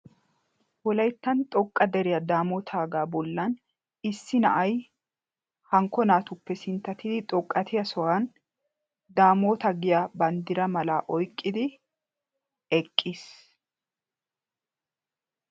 wollaytta xoqqa deriyaa damootaaga bollaa issi na'ay hankko naatuppe sinttatidi xoqqatiyaa sohuwaan damoota giya banddira mala oyqqidi eqqiis.